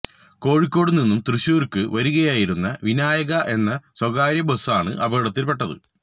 കോഴിക്കോട് നിന്നും തൃശൂർക്ക് വരികയായിരുന്ന വിനായക എന്ന സ്വകാര്യ ബസ്സാണ് അപകടത്തിൽപ്പെട്ടത്